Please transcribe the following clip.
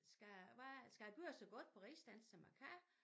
Skal hvad skal jeg gøre det så godt på rigsdansk som jeg kan